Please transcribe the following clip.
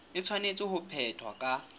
e tshwanetse ho phethwa ka